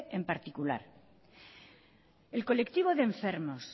en particular el colectivo de enfermos